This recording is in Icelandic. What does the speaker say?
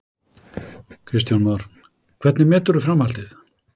Kristján Már: Hvernig meturðu framhaldið?